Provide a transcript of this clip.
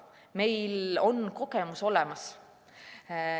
Meil on kogemus olemas.